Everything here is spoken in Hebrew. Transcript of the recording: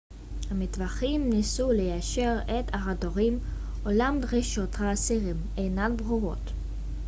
המתווכים ניסו ליישר את ההדורים אולם דרישות האסירים אינן ברורות